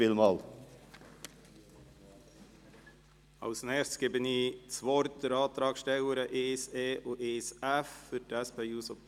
Als Nächstes erteile ich das Wort der Antragstellerin der Anträge 1e und 1f.